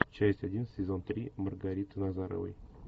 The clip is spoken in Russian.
часть один сезон три маргариты назаровой